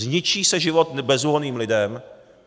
Zničí se život bezúhonným lidem.